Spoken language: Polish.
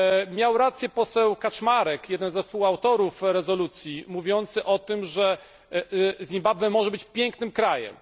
Miał rację poseł Kaczmarek, jeden ze współautorów rezolucji, mówiąc o tym, że Zimbabwe może być pięknym krajem.